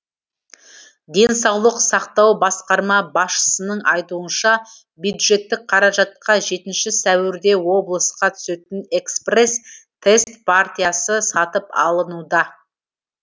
денсаулық сақтау басқарма басшысының айтуынша бюджеттік қаражатқа жетінші сәуірде облысқа түсетін экспресс тест партиясы сатып алынуда